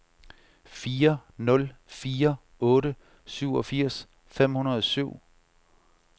fire nul fire otte syvogfirs fem hundrede og syv